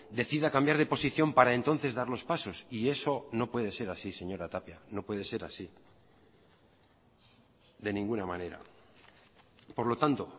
decida cambiar de posición para entonces dar los pasos y eso no puede ser así señora tapia no puede ser así de ninguna manera por lo tanto